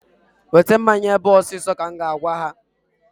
Weta mmanya ebe a ọsọ ọsọ! ka m ga-agwa ha.